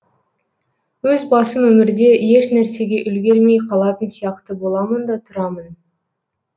өз басым өмірде ешнәрсеге үлгермей қалатын сияқты боламын да тұрамын